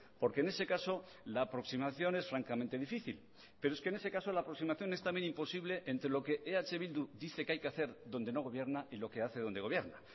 porque en ese caso la aproximación es francamente difícil pero es que en ese caso la aproximación es también imposible entre lo que eh bildu dice que hay que hacer donde no gobierna y lo que hace donde gobierna